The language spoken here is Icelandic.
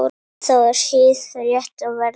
Það var hið rétta verð.